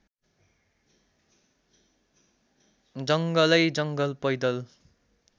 जङ्गलैजङ्गल पैदल